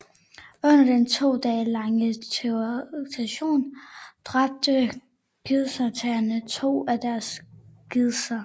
Under den to dage lange terroraktion dræbte gidseltagerne to af deres gidsler